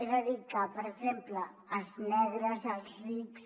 és a dir que per exemple els negres els rics